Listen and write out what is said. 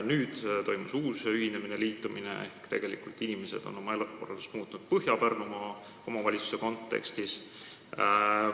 Nüüd toimus uus ühinemine, liitumine, ehk tegelikult on inimesed oma elukorraldust muutnud Põhja-Pärnumaa omavalitsuse kontekstis.